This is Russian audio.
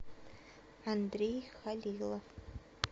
андрей халилов